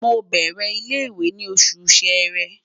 Mo n bẹrẹ ile-iwe ni Oṣù Ṣẹ̀rẹ́